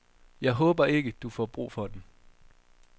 Jeg håber ikke, du får brug for den.